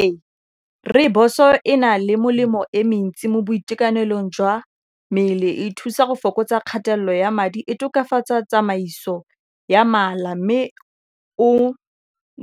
Ee rooibos-o e na le molemo e mentsi mo boitekanelong jwa mmele e thusa go fokotsa kgatelelo ya madi e tokafatsa tsamaiso ya mala mme o